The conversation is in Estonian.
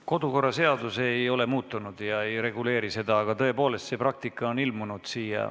Kodukorraseadus ei ole muutunud ja ei reguleeri seda, aga tõepoolest, selline praktika on tekkinud.